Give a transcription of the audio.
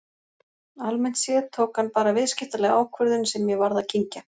Almennt séð tók hann bara viðskiptalega ákvörðun sem ég varð að kyngja.